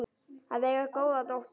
Að eiga góða dóttur.